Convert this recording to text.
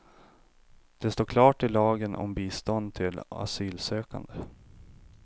Det står klart i lagen om bistånd till asylsökande.